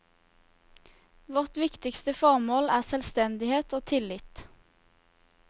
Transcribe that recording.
Vårt viktigste formål er selvstendighet og tillit.